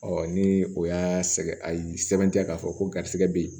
ni o y'a sɛgɛn a ye sɛbɛntiya k'a fɔ ko garisigɛ be yen